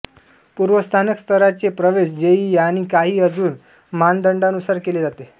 पूर्वस्नातक स्तराचे प्रवेश जेईई आणि काही अजुन मानदण्डानुसार केले जाते